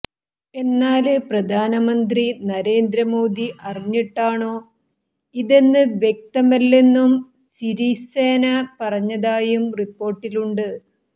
എന്നാല് പ്രധാനമന്ത്രി നരേന്ദ്ര മോദി അറിഞ്ഞിട്ടാണോ ഇതെന്ന് വ്യക്തമല്ലെന്നും സിരിസേന പറഞ്ഞതായും റിപ്പോര്ട്ടിലുണ്ട്